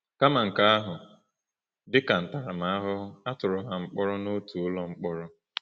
Kama nke ahụ, dị ka ntaramahụhụ, a tụrụ ha mkpọrọ n’otu ụlọ mkpọrọ.